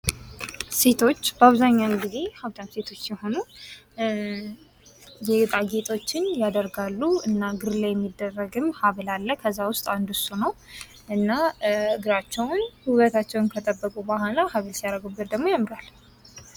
ሴቶች በአብዛኛውን ጊዜ ሃብታም ሴቶች ሲሆኑ ጌጣጌጦችን ያረጋሉ እና እግር ላይ የሚደረግም ሀብል አለ:: ከዛ ዉስጥ አንዱ እሱ ነው እና እግራቸውን ዉበታቸውን ከጠበቁ ቡሀላ ሀብል ሲያደርጉበት ደግሞ ያምራል::